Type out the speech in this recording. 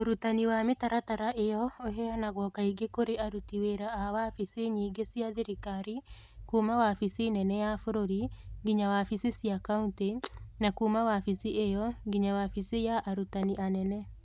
Ũrutani wa mĩtaratara ĩyo ũheanagwo kaingĩ kũrĩ aruti wĩra a wabici nyingĩ cia thirikari, kuuma wabici nene ya bũrũri nginya wabici cia kaunti, na kuuma wabici ĩyo nginya wabici ya arutani anene.